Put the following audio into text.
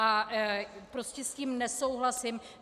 A prostě s tím nesouhlasím.